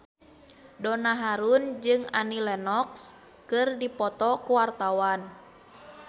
Donna Harun jeung Annie Lenox keur dipoto ku wartawan